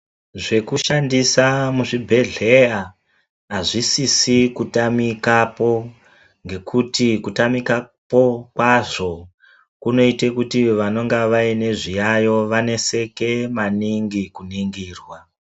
Zvekushandisa muzvibhehleya hazvisisi kutamikapo kuti kutamikapo kwazvo kundoita kuti vanenge vane zviyayiyo vaneseke maningi kuningira.